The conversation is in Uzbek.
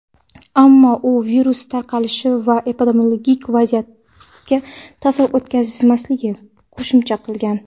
Ammo u virus tarqalishi va epidemiologik vaziyatga ta’sir o‘tkazmasligini qo‘shimcha qilgan.